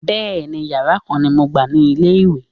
Bẹẹni, Ìyàrá kan ni mo gbà ní ilé-ìwé.